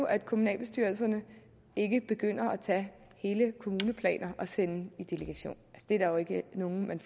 at kommunalbestyrelserne ikke begynder at tage hele kommuneplaner og sender dem i delegation det er der ikke nogen